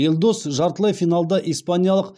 елдос жартылай финалда испаниялық